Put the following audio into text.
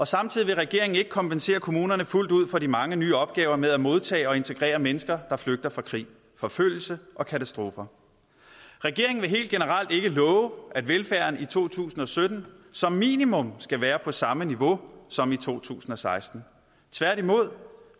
samtidig vil regeringen ikke kompensere kommunerne fuldt ud for de mange nye opgaver med at modtage og integrere mennesker der flygter fra krig forfølgelser og katastrofer regeringen vil helt generelt ikke love at velfærden i to tusind og sytten som minimum skal være på samme niveau som i to tusind og seksten tværtimod